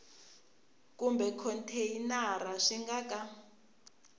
kumbe khonteyinara swi nga ka